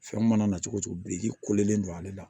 Fɛn mana na cogo cogo biriki kolen don ale la